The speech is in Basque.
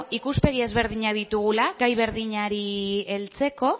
ikuspegi ezberdinak ditugula gai berdinari heltzeko